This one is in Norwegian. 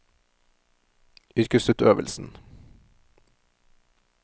yrkesutøvelsen